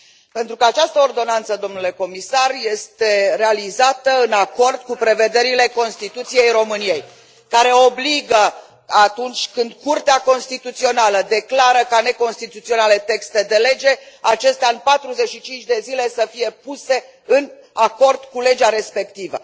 Pentru că această ordonanță, domnule comisar, este realizată în acord cu prevederile Constituției României, care obligă, atunci când Curtea Constituțională declară ca neconstituționale texte de lege, acestea în 45 de zile să fie puse în acord cu legea respectivă.